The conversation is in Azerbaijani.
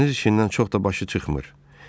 Dəniz işindən çox da başı çıxmır.